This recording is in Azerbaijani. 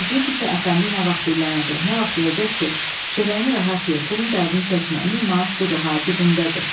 Gözləyirdi ki, əfəndi nə vaxt dillənəcək, nə vaxt deyəcək ki, çörəyini rahat ye, pulun dərdini çəkmə, min manat budur ha cibimdədir.